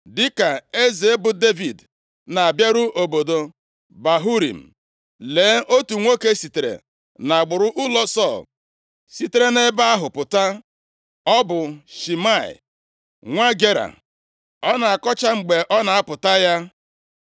Dịka eze bụ Devid na-abịaru obodo Bahurim, + 16:5 \+xt 2Sa 3:16\+xt* lee, otu nwoke sitere nʼagbụrụ ụlọ Sọl sitere nʼebe ahụ pụta. Ọ bụ Shimei + 16:5 \+xt 2Sa 19:21; 1Ez 2:8,44-46\+xt* nwa Gera. Ọ na-akọcha mgbe ọ na-apụta ya.